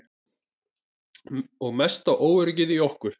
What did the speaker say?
Og mesta óöryggið í okkur.